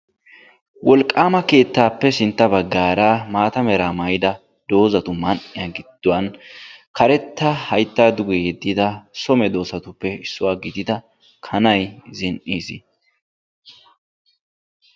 Wolqqama keettappe sintta baggara maata mera mayidi doozatu gidduwaan so medoosatuppe issuwaa gidida haytta duge yedidda kanay zin''iis.